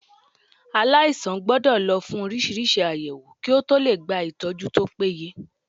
Aláìsàn gbọ́dọ̀ lọ fún oríṣiríṣi àyẹ̀wò kí ó tọ lè gba ìtọ́jú tó péye.